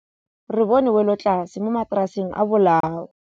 Re bone wêlôtlasê mo mataraseng a bolaô.